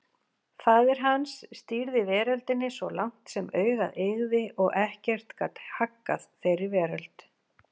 Faðir hans stýrði veröldinni svo langt sem augað eygði og ekkert gat haggað þeirri veröld.